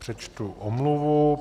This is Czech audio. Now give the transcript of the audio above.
Přečtu omluvu.